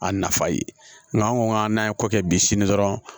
A nafa ye nka an ko k'an n'an ye kɔ kɛ bi sini dɔrɔn